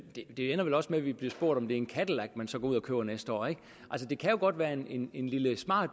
det ender vel også med at vi bliver spurgt om det er en cadillac man så går ud og køber næste år det kan jo godt være en lille smart